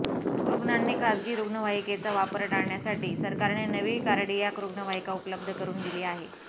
रुग्णांनी खासगी रुग्णवाहिकेचा वापर टाळण्यासाठी सरकारने नवी कार्डियाक रुग्णवाहिका उपलब्ध करून दिली आहे